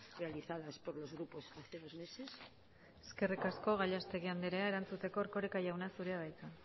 realizadas por los grupos hace dos meses eskerrik asko gallastegui anderea erantzuteko erkoreka jauna zurea da hitza